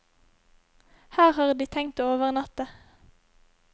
Her har de tenkt å overnatte.